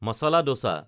masala দচা